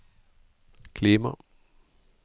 klima